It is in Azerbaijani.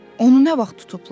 Onu nə vaxt tutublar?